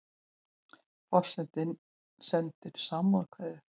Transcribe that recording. Forsetinn sendir samúðarkveðjur